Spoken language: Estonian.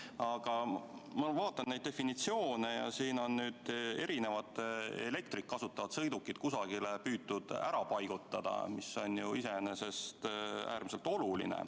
Aga ma vaatan neid definitsioone ja näen, et siin on erinevaid elektrit kasutavaid sõidukeid püütud kusagile ära paigutada, mis on iseenesest äärmiselt oluline.